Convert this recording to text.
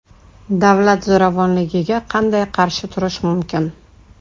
Davlat zo‘ravonligiga qanday qarshi turish mumkin?